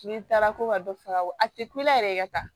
N'i taara ko ka dɔ faga a tɛ kule yɛrɛ ye ka taa